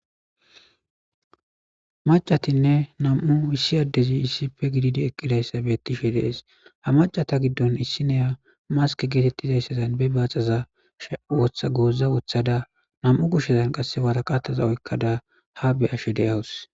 Macatinne nam'u issi addezi issife gididi eqqidayssabettishi dees ha macata giddon issineya mask geetettizayssazan be baaxazas woththa gooza wothada nam'u kushshezan qasse waraqataza oykkada ha be ashe deyawus